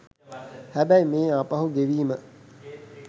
හැබැයි මේ ආපහු ගෙවීම